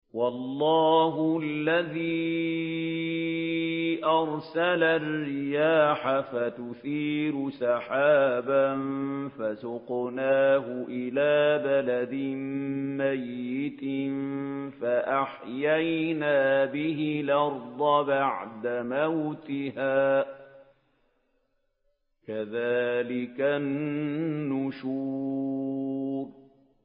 وَاللَّهُ الَّذِي أَرْسَلَ الرِّيَاحَ فَتُثِيرُ سَحَابًا فَسُقْنَاهُ إِلَىٰ بَلَدٍ مَّيِّتٍ فَأَحْيَيْنَا بِهِ الْأَرْضَ بَعْدَ مَوْتِهَا ۚ كَذَٰلِكَ النُّشُورُ